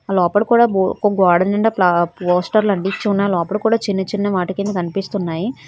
లోపల కూడా గో ఒక గోడ నిండా ప్లా పోస్టర్ లు అంటించి ఉన్నాయ్ లోపల కూడా చిన్న-చిన్న వాటికిని కనిపిస్తున్నాయ్.